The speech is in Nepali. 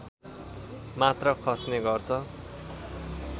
मात्र खस्ने गर्छ